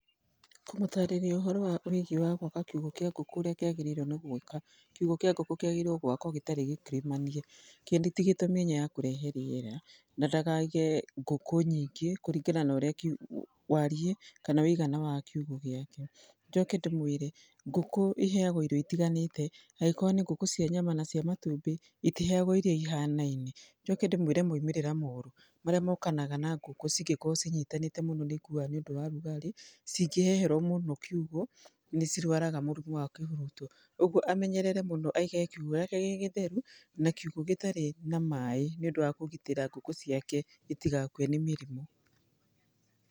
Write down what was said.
Kumatarĩria ũhoro wa ũigĩ gwaka kĩugo kĩa ngũkũ ũrĩa kĩagĩrĩire gwĩka, kiũgo kĩa ngũkũ kĩagĩrĩirwo gwakwa gĩtarĩ gĩkirimanie, gĩtigĩtwe mĩanya ya kũrehe rĩera na ndakaige ngũkũ nyingĩ kũringana na ũrĩa na wariĩ kana ũigana wa kiũgo gĩake, njoke ndĩmwĩre ngũkũ iheagwo irio itiganĩte angĩkorwo nĩ ngũkũ cia nyama na ccia matumbĩ itiheagwo irio ihanaine, njoke ndĩmwĩre maũmĩrĩra moru marĩa mokanaga na ngũkũ cingĩkorwo cinyitanĩte mũno nĩ ikuaga nĩũndũ wa ũrugarĩ cingĩheherwo mũno kiũgo nĩcirwaraga mũrimũ wa kĩhuruto ũguo amenerere mũno aige kiũgo gĩake gĩgĩtheru na kiũgo gĩtarĩ na maĩ nĩũndũ wa kũgitĩra ngũkũ ciake itigakue nĩ mĩrimũ.